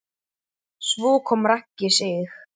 Svo kom Raggi Sig.